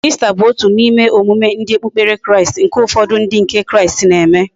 Easter bu otu na ime emume ndi okpukpere Kraist, nke ufodu ndi nke kraist na eme